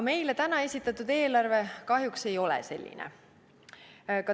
Meile täna esitatud eelarve kahjuks ei ole selline.